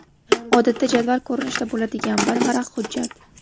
Odatda jadval ko‘rinishida bo‘ladigan bir varaq hujjat.